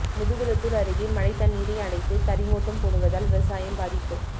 முதுகுளத்தூா் அருகே மடை தண்ணீரை அடைத்து கரிமூட்டம் போடுவதால் விவசாயம் பாதிப்பு